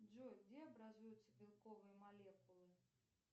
джой где образуются белковые молекулы